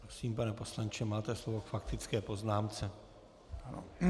Prosím, pane poslanče, máte slovo k faktické poznámce.